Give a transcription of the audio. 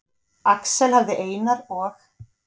Axel hafði Einar og